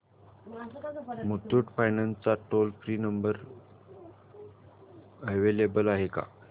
Muthoot finance चा toll free number available आहे का